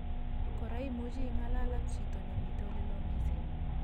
Kora imuchi ingalal ak chito nemitei oleloo mising